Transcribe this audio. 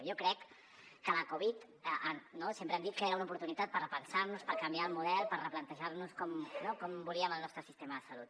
jo crec que la covid no sempre hem dit que era una oportunitat per repensar nos per canviar el model per replantejar nos com volíem el nostre sistema de salut